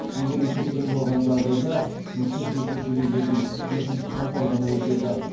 егер есеп тең болған жағдайда үшінші шешуші кездесу бесінші қаңтар күні өтеді